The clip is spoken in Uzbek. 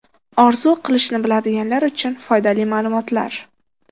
Orzu qilishni biladiganlar uchun foydali ma’lumotlar.